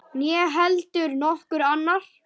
Né heldur nokkur annar.